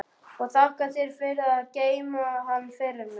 Og þakka þér fyrir að geyma hann fyrir mig.